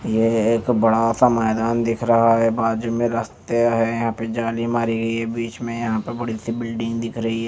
ये एक बड़ा सा मैदान दिख रहा है बाजु में रस्ते है यहाँ पे जाली मरी गयी है बीच में यहाँ पे बड़ी सी बिल्डिंग दिख रही है ।